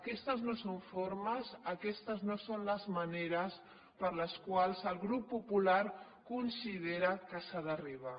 aquestes no són formes aquestes no són les maneres per les quals el grup popular considera que s’hi ha d’arribar